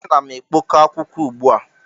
Ana m ekpok ọ akwụkwọ ugbu a.